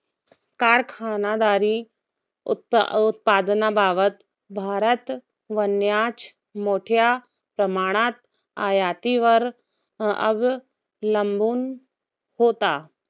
कारखानदारी उत्पा उत्पादनाबाबत भारत वान्याच मोठ्या प्रमाणात आयतीवर अवलंबून होता.